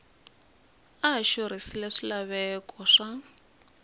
a a xurhisile swilaveko swa